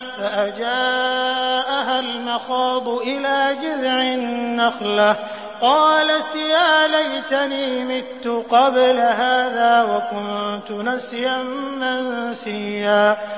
فَأَجَاءَهَا الْمَخَاضُ إِلَىٰ جِذْعِ النَّخْلَةِ قَالَتْ يَا لَيْتَنِي مِتُّ قَبْلَ هَٰذَا وَكُنتُ نَسْيًا مَّنسِيًّا